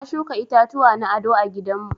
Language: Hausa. Na shuka itatuwa na aɗo a gidan mu.